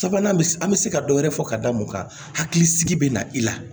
Sabanan bɛ se an bɛ se ka dɔ wɛrɛ fɔ ka da mun kan hakilisigi bɛ na i la